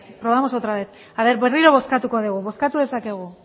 probamos otra vez berriro bozkatuko dugu bozkatu dezakegu